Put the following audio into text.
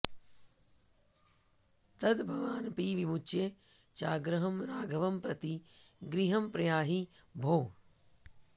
तद्भवानपि विमुच्य चाग्रहं राघवं प्रति गृहं प्रयाहि भोः